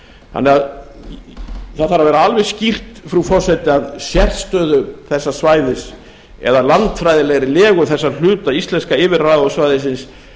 þannig að það þarf að vera alveg skýrt frú forseti að sérstöðu þessa svæðis eða landfræðilegri legu þessa hluta íslenska yfirráðasvæði